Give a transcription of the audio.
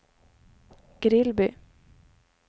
Grillby